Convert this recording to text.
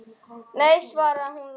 Nei, svaraði hún lágt.